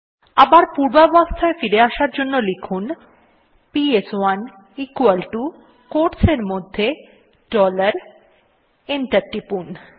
আবার পূর্বাবস্থায় আবার ফিরে আসার জন্য লিখুন পিএস1 equal টো কোয়োটস এর মধ্যে ডলার এবং এন্টার টিপুন